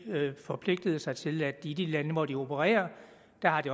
forpligtede sig til i de lande hvor de opererer